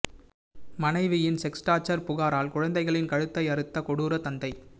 மனைவியின் sex torture புகாரால் குழந்தைகளின் கழுத்தை அறுத்த கொடூர தந்தை